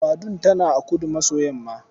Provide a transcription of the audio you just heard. Badun tana a kudu-maso-yamma.